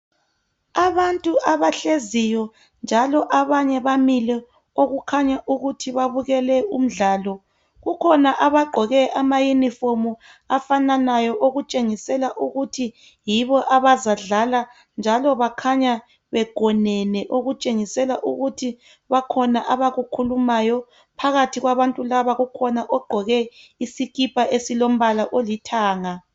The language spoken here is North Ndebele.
abantu abahleziyo njalo abanye bamile okukhanya ukuthi babukele umdlalo kukhona abagqoke ama uniform afananayo okutshengisela ukuthi yibo abazadlala njalo bakhanya begonene okutshengisela ukuthi bakhona abakukhulumayo phakathi kwabantu laba kukhona ogqoke isikipa easilomblala olithanga